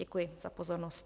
Děkuji za pozornost.